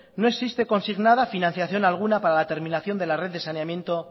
no existe consignada financiación alguna para la terminación de la red de saneamiento